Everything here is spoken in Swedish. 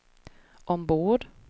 ombord